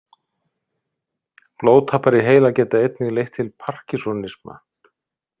Blóðtappar í heila geta einnig leitt til Parkinsonisma.